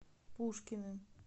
пушкиным